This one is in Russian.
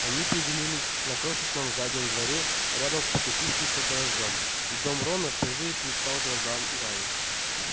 они приземлились на крошечном заднем дворе рядом с покосившимся гаражом и дом рона впервые предстал глазам гарри